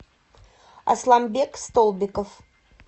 асланбек столбиков